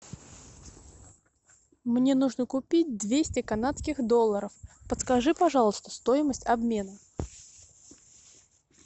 мне нужно купить двести канадских долларов подскажи пожалуйста стоимость обмена